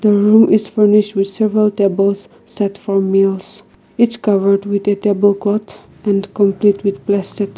the room is furnished with several tables set for meals each covered with a table cloth and complete with plastic.